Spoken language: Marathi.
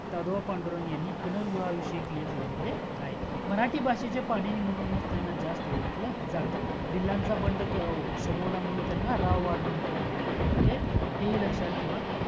दादोबा पांडुरंग यांनी पुनर्विवाह विषयी एक लेख लेहिलेले आहेत मराठी भाषेचे पाणिणी म्हणूनच त्यांना जास्त ओळखल जातं भिलांचा बंड त्यांनी समवल्यामुळे राव बहादुर ही पदवी मिळालेली आहे